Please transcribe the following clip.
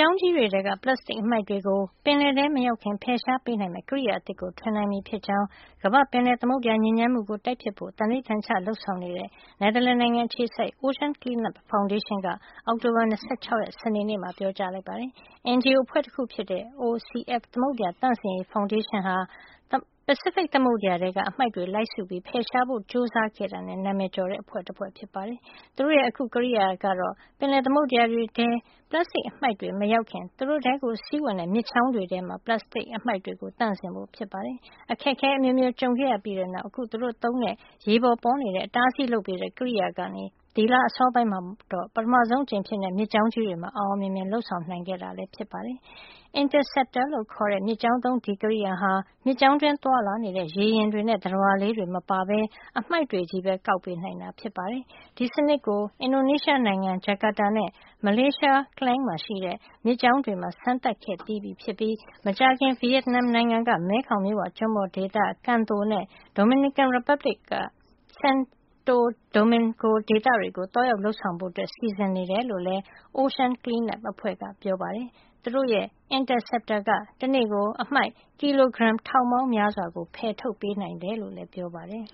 ောင်းကြီးတွေထဲက ပလတ်စတစ်အမှိုက်တွေကို ပင်လယ်ထဲမရောက်ခင် ဖယ်ရှားပေးနိုင်မယ့် ကိရိယာအသစ်ကို ထွင်နိုင်ပြီဖြစ်ကြောင်း ကမ္ဘာ့ ပင်လယ်သမုဒ္ဒရာ ညစ်ညမ်းမှုကို တိုက်ဖျက်ဖို့ သန္နိဋ္ဌာန်ချ လုပ်ဆောင်နေတဲ့ နယ်သာလန်နိုင်ငံ အခြေစိုက် Ocean Cleanup Foundation က အောက်တိုဘာ ၂၆ စနေနေ့မှာ ပြောကြားလိုက်ပါတယ်။ NGO အဖွဲ့တခုဖြစ်တဲ့ သမုဒ္ဒရာသန့်စင်ရေး ဖောင်ဒေးရှင်းဟာ ပစိဖိတ်ထဲက အမှိုက်တွေ လိုက်စုပြီး ဖယ်ရှားဖို့ ကြိုးစားခဲ့တာနဲ့ နာမည်ကျော်တဲ့ အဖွဲ့တဖွဲ့ ဖြစ်ပါတယ်။ သူတို့ရဲ့ အခုကိရိယာကတော့ ပင်လယ်သမုဒ္ဒရာတွေထဲ ပလတ်စတစ်အမှိုက်တွေ မရောက်ခင် သူတို့ထဲစီးဝင်တဲ့ မြစ်ချောင်းတွေထဲမှာ ပလတ်စတစ်သန့်စင်ဖို့ ဖြစ်ပါတယ်။ အခက်အခဲအမျိုးမျိုး ကြုံခဲ့ရပြီးတဲ့နောက် အခု သူတို့သုံးတဲ့ ရေပေါ်ပေါ်နေတဲ့ အတားအဆီးလုပ်ပေးတဲ့ ကိရိယာကနေ ဒီလ အစောပိုင်းမှာတော့ ပထမဆုံးအကြိမ်အဖြစ် မြစ်ကြောင်းကြီးတွေမှာ အောင်အောင်မြင်မြင် လုပ်ဆောင်နိုင်ခဲ့တာ ဖြစ်ပါတယ်။ Interceptor လို့ခေါ်တဲ့ မြစ်ကြောင်းသုံး ဒီကိရိယာဟာ မြစ်ကြောင်းတွင်း သွားလာတဲ့ ရေယာဉ်တွေနဲ့ သတ္တဝါလေးတွေမပါဘဲ အမှိုက်တွေကို ကောက်ပေးနိုင်တာ ဖြစ်ပါတယ်။ ဒီစနစ်ကို အင်ဒိုနီးရှားနိုင်ငံ Jakata၊ မလေးရှားက Klang မှာရှိတဲ့ မြစ်ကြောင်းတွေမှာ စမ်းသပ်ခဲ့ပြီးပြီဖြစ်ပြီး မကြာခင်မှာ ဗီယက်နမ်နိုင်ငံက မဲခေါင်မြစ်ဝကျွန်းပေါ်ဒေသ Can Tho နဲ့ ဒိုမီနီကန် ရီပတ်ဘလစ်နိုင်ငံ၊ Santo Domingo ဒေသတွေကို သွားရောက်လုပ်ဆောင်ဖို့ စီစဉ်နေတယ်လို့လည်း Ocean Cleanup အဖွဲ့က ပြောပါတယ်။ သူတို့ရဲ့ Interceptor က တနေ့ကို အမှိုက် ကီလိုဂရမ် ထောင်ပေါင်းများစွာ ဖယ်ထုတ်ပေးနိုင်တယ်လို့လည်း ပြောပါတယ်